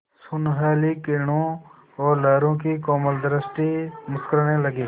सुनहली किरणों और लहरों की कोमल सृष्टि मुस्कराने लगी